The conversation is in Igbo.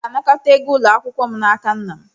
M ga-anakọta ego ụlọ akwụkwọ m n'aka nna m.